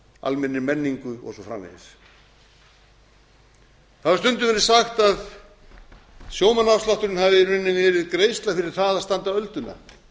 almennri menningu og svo framvegis það hefur stundum verið sagt að sjómannaafslátturinn hafi í rauninni verið greiðsla fyrir það að standa ölduna